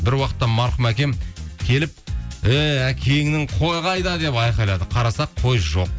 бір уақытта марқұм әкем келіп ей әкеңнің қой қайда деп айқайлады қарасақ қой жоқ